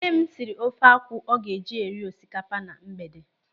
Nne m siri ofe akwụ ọ ga-eji eri osikapa na mgbede.